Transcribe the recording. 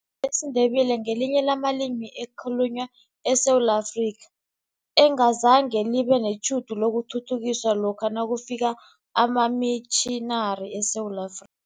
Ilimi lesiNdebele ngelinye lamalimi ekhalunywa eSewula Afrika, engazange libe netjhudu lokuthuthukiswa lokha nakufika amamitjhinari eSewula Afri